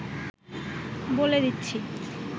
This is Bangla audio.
বলে দিচ্ছি